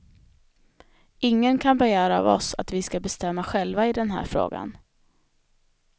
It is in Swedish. Ingen kan begära av oss att vi ska bestämma själva i den här frågan.